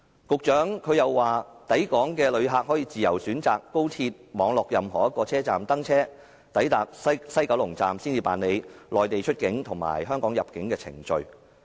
局長又說抵港的旅客可以自由選擇高鐵網絡任何一個車站登車，抵達西九龍站才辦理內地出境和香港入境的程序。